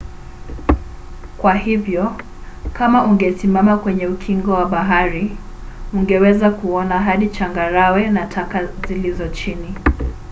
kwa hivyo kama ungesimama kwenye ukingo wa bahari ungeweza kuona hadi changarawe na taka zilizo chini